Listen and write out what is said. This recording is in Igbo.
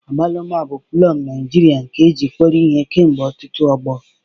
Agwaluma bụ plọm Naijirịa nke e ji kpọrọ ihe kemgbe ọtụtụ ọgbọ.